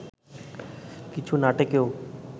কিছু নাটকেও